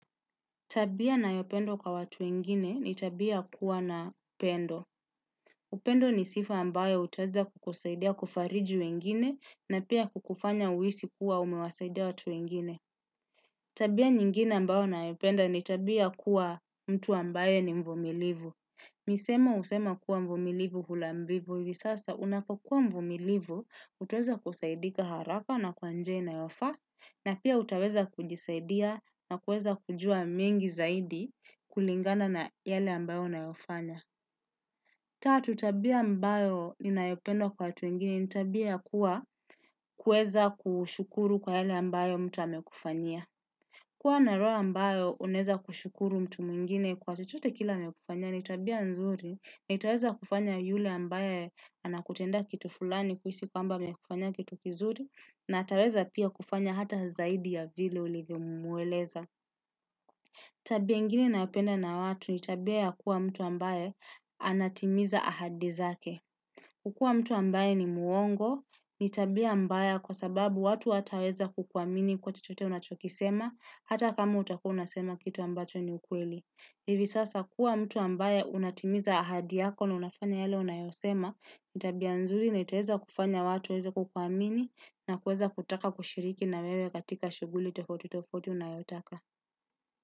Tabia nayopendo kwa watu wengine ni tabia kuwa na upendo. Upendo ni sifa ambayo utaweza kukusaidia kufariji wengine na pia kukufanya uisi kuwa umewasaidia watu wengine. Tabia nyingine ambayo nayopenda ni tabia kuwa mtu ambayo ni mvumilivu. Misemo usema kuwa mvumilivu hula mbivu hivi sasa unapokua mvumilivu utaweza kusaidika haraka na kwa njia inayofa na pia utaweza kujisaidia na kuweza kujua mingi zaidi kulingana na yale ambayo unayofanya. Tatu tabia ambayo ninayopendo kwa watu wengine, ni tabia kuwa kueza kushukuru kwa yale ambayo mtu amekufanya. Kuwa na roho ambayo uneza kushukuru mtu muingine kwa chochote kile amekufanyia, ni tabia nzuri, na utaweza kufanya yule ambayo anakutenda kitu fulani kuhisi kwa ambayo mekufanyia kitu kizuri, na ataweza pia kufanya hata zaidi ya vile ulivyo muweleza. Tabi ingine naupenda na watu nitabia ya kuwa mtu ambaye anatimiza ahadi zake. Kukua mtu ambaye ni muongo, nitabia mbaya kwa sababu watu ataweza kukuamini kwa chochote unachokisema hata kama utakua unasema kitu ambacho ni ukweli. Hivi sasa kuwa mtu ambaye unatimiza ahadi yako na unafanya yale unayosema ni tabia nzuri na itueza kufanya watu waeze kukuamini na kuweza kutaka kushiriki na wewe katika shuguli tofauti tofauti unayotaka.